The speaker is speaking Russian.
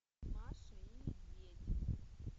маша и медведь